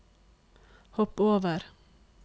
hopp over